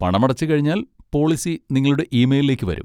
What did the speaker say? പണമടച്ച് കഴിഞ്ഞാൽ പോളിസി നിങ്ങളുടെ ഇമെയ്ലിലേക്ക് വരും.